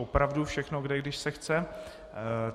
Opravdu všechno jde, když se chce.